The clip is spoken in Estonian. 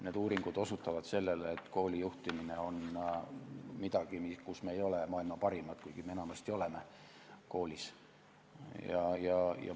Need uuringud osutavad sellele, et koolijuhtimine on midagi, kus me ei ole maailma parimad, kuigi me muidu koolis enamasti seda oleme.